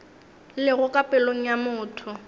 lego ka pelong ya motho